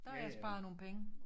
Der har jeg sparet nogle penge